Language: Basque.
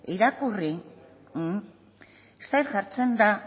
irakurri zer jartzen da